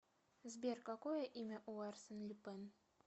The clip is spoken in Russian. сбер какое имя у арсен люпен